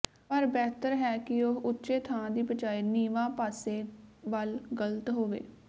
ਪਰ ਬਿਹਤਰ ਹੈ ਕਿ ਉਹ ਉੱਚੇ ਥਾਂ ਦੀ ਬਜਾਏ ਨੀਵਾਂ ਪਾਸੇ ਵੱਲ ਗਲਤ ਹੋਵੇ